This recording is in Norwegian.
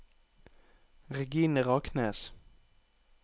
Regine Raknes